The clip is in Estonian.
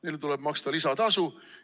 Neile tuleb maksta lisatasu!